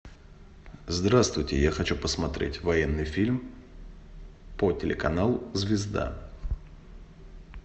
здравствуйте я хочу посмотреть военный фильм по телеканалу звезда